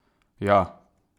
Ja!